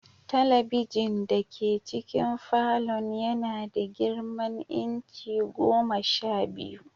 Talabijin dake cikin falon yana da girman inci goma sha biyu.